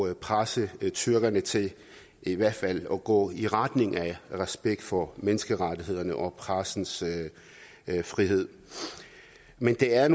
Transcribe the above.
at presse tyrkerne til i hvert fald at gå i retning af respekt for menneskerettighederne og pressens frihed men det er